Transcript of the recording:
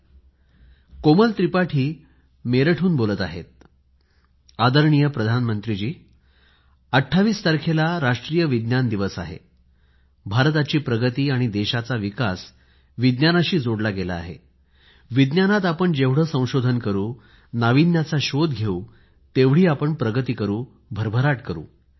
आदरणीय पंतप्रधानजीमी कोमल त्रिपाठी मेरठ हून बोलत आहे 28 तारखेला राष्ट्रीय विज्ञान दिवस आहेभारताची प्रगती आणि देशाचा विकास विज्ञानाशी जोडला गेला आहेविज्ञानात आपण जेवढे संशोधन करू नाविन्याचा शोध घेऊ तेवढी आपण प्रगती करू भरभराट करू